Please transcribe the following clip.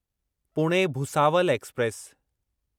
Pune Bhusawal express